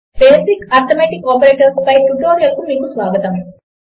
basic arithmetic operators పై ట్యుటోరియల్కు మీకు స్వాగతం